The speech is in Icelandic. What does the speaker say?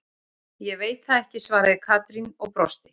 Ég veit það ekki svaraði Katrín og brosti.